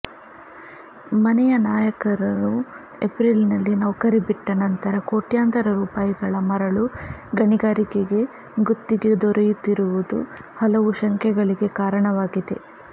ಮನೆಯ ನೌಕರರು ಏಪ್ರಿಲ್ನಲ್ಲಿ ನೌಕರಿ ಬಿಟ್ಟ ನಂತರ ಕೋಟ್ಯಂತರ ರೂಪಾಯಿಗಳ ಮರಳು ಗಣಿಗಾರಿಕೆಗೆ ಗುತ್ತಿಗೆ ದೊರೆತಿರುವುದು ಹಲವು ಶಂಕೆಗಳಿಗೆ ಕಾರಣವಾಗಿದೆ